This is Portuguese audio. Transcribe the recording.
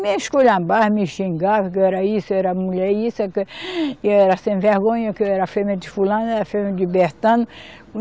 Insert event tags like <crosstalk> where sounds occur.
Me esculhambava, me xingava, que eu era isso, eu era a mulher isso, <sighs> e eu era a sem vergonha, que eu era fêmea de fulano, eu era fêmea de Bertano.